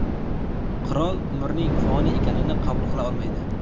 Qirol umrning foniy ekanini qabul qila olmaydi.